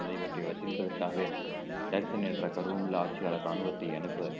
நிறைவேற்றியவர் வசூலிப்பதற்காகவே என்ற கர்வமுள்ள ஆட்சியாளர் ராணுவத்தை அனுப்ப